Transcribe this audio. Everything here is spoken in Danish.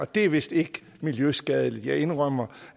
det er vist ikke miljøskadeligt jeg indrømmer